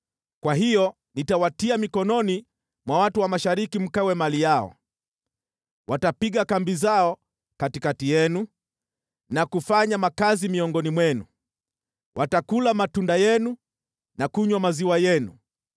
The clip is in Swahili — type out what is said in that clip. kwa hiyo nitawatia mikononi mwa watu wa mashariki mkawe mali yao. Watapiga kambi zao katikati yenu na kufanya makazi miongoni mwenu, watakula matunda yenu na kunywa maziwa yenu.